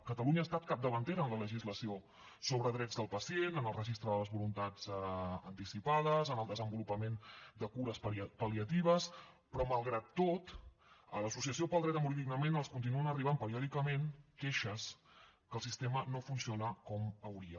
catalunya ha estat capdavantera en la legislació sobre drets del pacient en el registre de les voluntats anticipades en el desenvolupament de cures pal·liatives però malgrat tot a l’associació pel dret a morir dignament els continuen arribant periòdicament queixes que el sistema no funciona com hauria